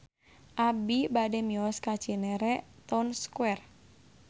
Abi bade mios ka Cinere Town Square